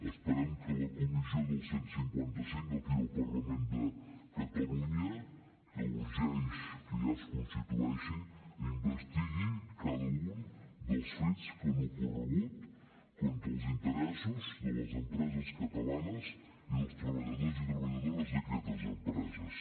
esperem que la comissió del cent i cinquanta cinc d’aquí del parlament de catalunya que urgeix que ja es constitueixi investigui cada un dels fets que han ocorregut contra els interessos de les empreses catalanes i dels treballadors i treballadores d’aquestes empreses